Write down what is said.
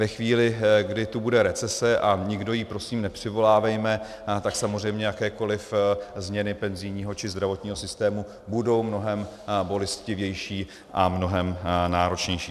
Ve chvíli, kdy tu bude recese, a nikdo ji prosím nepřivolávejme, tak samozřejmě jakékoliv změny penzijního či zdravotního systému budou mnohem bolestivější a mnohem náročnější.